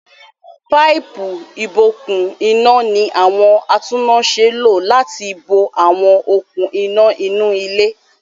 Páípù-ìbokùn-iná ní àwọn atúnnáṣẹ́ lò láti bo àwọn okùn-iná inú ilé.